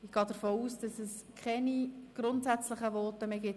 Ich gehe davon aus, dass es zum Gesetz keine grundsätzlichen Voten mehr gibt.